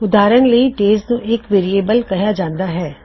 ਉਦਾਹਰਨ ਲਈ ਵੇਅਰਿਏਬਲ ਦਿਨ੍ਹਾ ਨੂੰ ਅਰੈਜ਼ ਕਿਹਾ ਜਾਂਦਾ ਹੈ